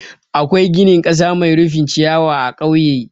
Akwai ginin ƙasa mai rufin ciyawa a ƙauye.